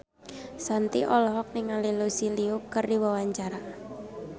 Shanti olohok ningali Lucy Liu keur diwawancara